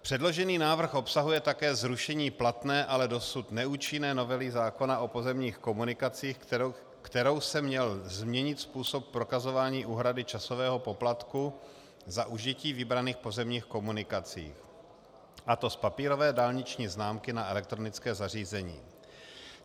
Předložený návrh obsahuje také zrušení platné, ale dosud neúčinné novely zákona o pozemních komunikacích, kterou se měl změnit způsob prokazování úhrady časového poplatku za užití vybraných pozemních komunikací, a to z papírové dálniční známky na elektronické zařízení.